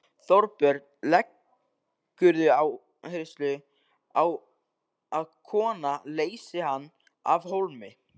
Þorbjörn: Leggurðu áherslu á að kona leysi hana af hólmi?